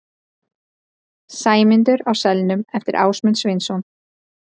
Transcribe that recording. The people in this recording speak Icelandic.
Sæmundur á selnum eftir Ásmund Sveinsson.